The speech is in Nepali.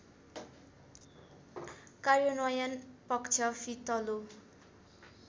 कार्यन्वयन पक्ष फितलो